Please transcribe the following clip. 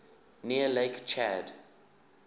near lake chad